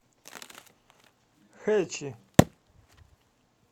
хэчи